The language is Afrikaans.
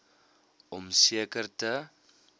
om seker te